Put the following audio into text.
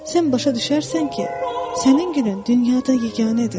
Sən başa düşərsən ki, sənin gülün dünyada yeganədir.